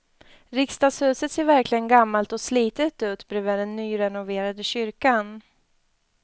Riksdagshuset ser verkligen gammalt och slitet ut bredvid den nyrenoverade kyrkan.